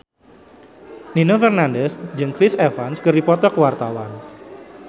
Nino Fernandez jeung Chris Evans keur dipoto ku wartawan